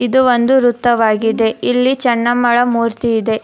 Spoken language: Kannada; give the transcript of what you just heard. ಇದು ಒಂದು ವೃತವಾಗಿದೆ ಇಲ್ಲಿ ಚೆನ್ನಮ್ಮಳ ಮೂರ್ತಿ ಇದೆ --